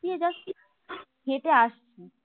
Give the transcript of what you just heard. দিয়ে যাচ্ছি হেঁটে আসছি